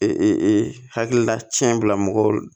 Ee hakilila cɛ bila mɔgɔw